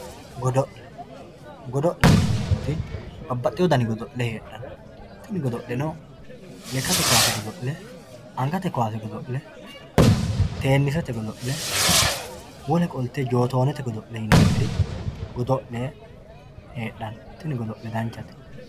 Dodo`le godo`lete yineemori babaxewo dani godo`le heedhano tini godo`leno lekate kaase godo`le angate kaase godol`e teenisete godo`le wole qolte jotonete yineemiri godo`le hedhano tini godo`le danchate